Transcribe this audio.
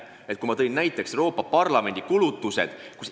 Enne ma viitasin Euroopa Parlamendi kulutustele.